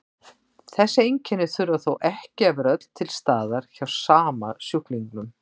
Þessi einkenni þurfa þó ekki að vera öll til staðar hjá sama sjúklingnum.